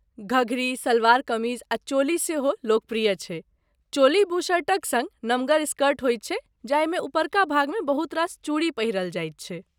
घघरी, सलवार कमीज आ चोली सेहो लोकप्रिय छै। चोली, बुशर्टक सङ्ग नमगर स्कर्ट होइत छै जाहिमे उपरका भागमे बहुत रास चूड़ी पहिरल जायत छै।